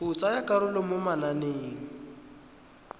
go tsaya karolo mo mananeng